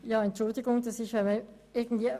Kommissionssprecherin der FiKo-Minderheit.